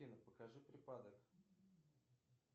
афина покажи припадок